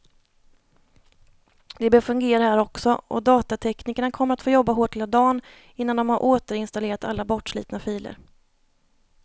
Det bör fungera här också, och datateknikerna kommer att få jobba hårt hela dagen innan de har återinstallerat alla bortslitna filer.